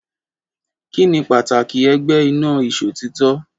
Kí ni pàtàkì ẹgbẹ́ ina ìṣòtítọ́?